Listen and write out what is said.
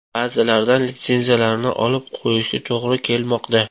Ba’zilardan litsenziyalarni olib qo‘yishga to‘g‘ri kelmoqda.